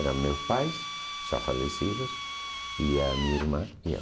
Eram meus pais, já falecidos, e a minha irmã e eu.